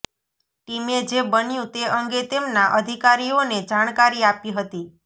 ટીમે જે બન્યું તે અંગે તેમના અધિકારીઓને જાણકારી આપી હતી